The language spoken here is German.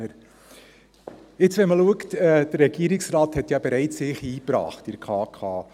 Wenn man sieht, wie sich der Regierungsrat bereits in der KdK eingebracht hat ...